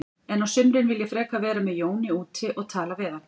En á sumrin vil ég frekar vera með Jóni úti og tala við hann.